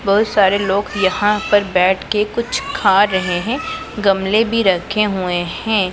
बहुत सारे लोग यहां पर बैठके कुछ खा रहे हैं गमले भी रखे हुए हैं।